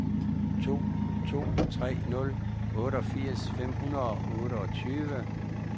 to to tre nul otteogfirs fem hundrede og otteogtyve